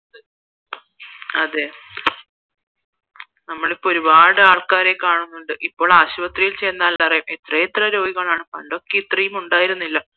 അതേ നമ്മൾ ഇപ്പോൾ ഒരുപാട് ആൾക്കാരെ കാണുന്നുണ്ട് ഇപ്പോൾ ആശുപത്രിയിൽ ചെന്നാൽ എത്രയെത്ര രോഗികളാണ് പണ്ടൊന്നും ഇത്രയും ഉണ്ടായിരുന്നില്ല